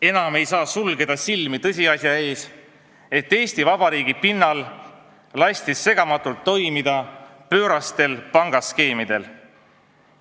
Enam ei saa sulgeda silmi tõsiasja ees, et Eesti Vabariigi pinnal lasti segamatult toimida pöörastel pangaskeemidel.